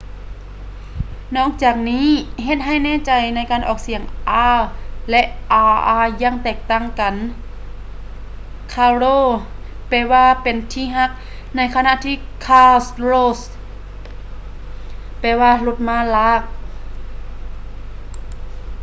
ນອກຈາກນີ້ ເຮັດໃຫ້ແນ່ໃຈໃນການອອກສຽງ r ແລະ rr ຢ່າງແຕກຕ່າງກັນ: ຄາໂຣ caro ແປວ່າ ເປັນທີ່ຮັກ ໃນຂະນະທີ່ ຄາຣ໌ໂຣ carro ແປວ່າ ລົດມ້າລາກ